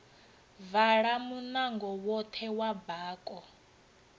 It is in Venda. vala munango woṱhe wa bako